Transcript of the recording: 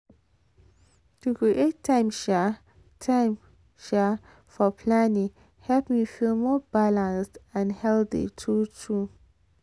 to create time um time um for planning help me feel more balanced and healthy true true.